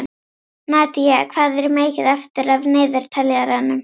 Nadía, hvað er mikið eftir af niðurteljaranum?